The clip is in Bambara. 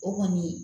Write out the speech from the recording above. O kɔni